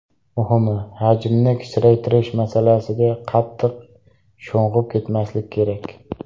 Muhimi, hajmni kichraytirish masalasiga qattiq sho‘ng‘ib ketmaslik kerak.